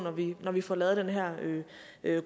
når vi får lavet den her